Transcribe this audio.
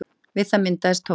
Við það myndaðist tónn.